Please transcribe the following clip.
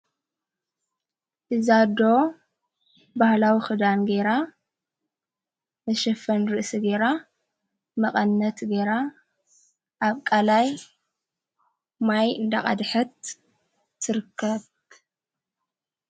ብዛዶ ባህላዊ ኽዳን ገይራ ንሽፈን ርእሲ ገራ መቐነት ገይራ ኣብቃላይ ማይ እንዳቓድሐት ትርከት።